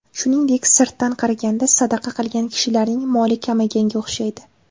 Shuningdek, sirtdan qaraganda, sadaqa qilgan kishilarning moli kamayganga o‘xshaydi.